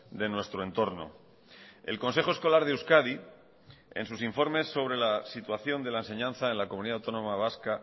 de nuestro entorno el consejo escolar de euskadi en sus informes sobre la situación de la enseñanza en la comunidad autónoma vasca